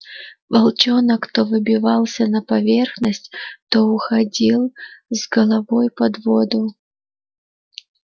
волчонок то выбивался на поверхность то уходил с головой под воду